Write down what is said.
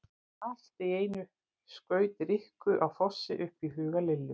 Allt í einu skaut Rikku á Fossi upp í huga Lillu.